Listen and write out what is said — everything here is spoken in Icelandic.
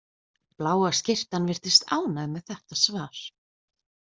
Bláa skyrtan virðist ánægð með þetta svar.